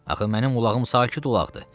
Axı mənim ulağım sakit ulaqdır.